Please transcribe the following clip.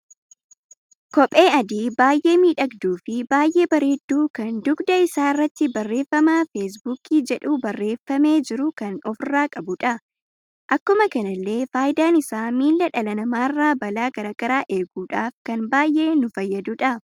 Kophee adii baay'ee miidhagduu fi baay'ee bareeddu kan dugda isaa irratti barreeffama feesbuukii jedhu barreeffame jiru kan ofirra qabudha. Akkuma kanallee faayidaan isaa miilla dhala namarra balaa garaagaraa eeguudhaf kan baay'ee nu fayyadudha.